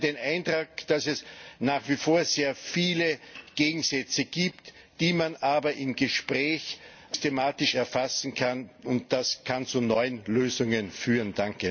Ich hatte den Eindruck, dass es nach wie vor sehr viele Gegensätze gibt, die man aber im Gespräch systematisch erfassen kann, und das kann zu neuen Lösungen führen.